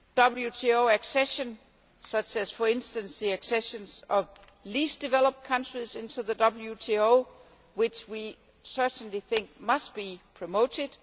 WTO accession such as, for instance, the accessions of least developed countries into the WTO, which we certainly think must be promoted